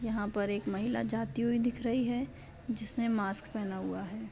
यहाँ पर एक महिला जाती हुई दिख रही है जिसने मास्क पहना हुआ है।